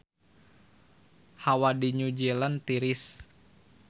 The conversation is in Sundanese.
Hawa di New Zealand tiris